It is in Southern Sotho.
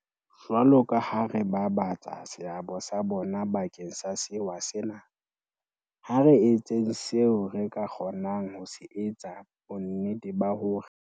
Jwalokaha re babatsa seabo sa bona bakeng sa sewa sena, ha re etseng seo re ka se kgo nang ho etsa bonnete ba hore